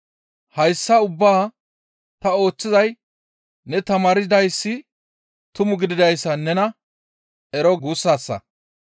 Hayssa ubbaa ta ooththizay ne tamaardayssi tuma gididayssa nena ero guussassa.